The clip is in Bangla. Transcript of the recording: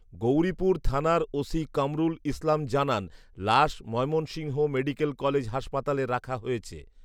গৌরিপুর থানার ওসি কামরুল ইসলাম জানান, লাশ ময়মনসিংহ মেডিক্যাল কলেজ হাসপাতালে রাখা হয়েছে